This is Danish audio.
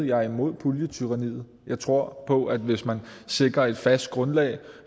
jeg er imod puljetyranniet jeg tror på at hvis man sikrer et fast grundlag